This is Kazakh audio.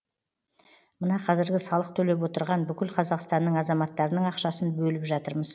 мына қазіргі салық төлеп отырған бүкіл қазақстанның азаматтарының ақшасын бөліп жатырмыз